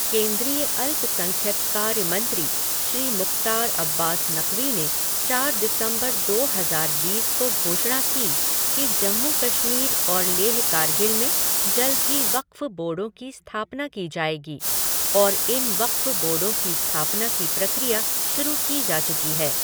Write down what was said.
केंद्रीय अल्पसंख्यक कार्य मंत्री श्री मुख़्तार अब्बास नक़वी ने चार दिसम्बर दो हज़ार बीस को घोषणा की कि जम्मू कश्मीर और लेह कारगिल में जल्दी ही वक़्फ़ बोर्डों की स्थापना की जाएगी और इन वक़्फ़ बोर्डों की स्थापना की प्रक्रिया शुरू की जा चुकी है।